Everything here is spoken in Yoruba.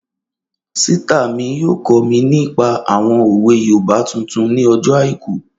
Ṣítà mi yóò kọ́ mi nípa àwọn òwe yoòbá tuntun ní ọjọ́ àìkú